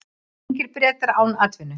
Ungir Bretar án atvinnu